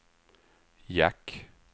jack